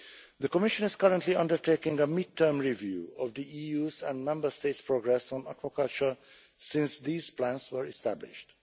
The Commission is currently undertaking a mid term review of the EU's and Member States' progress on aquaculture since these plans were established.